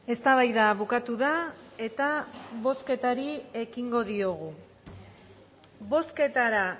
eztabaida bukatu da eta bozketari ekingo diogu bozketara